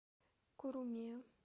куруме